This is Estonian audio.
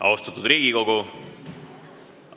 Austatud Riigikogu!